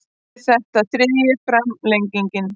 Er þetta þriðja framlengingin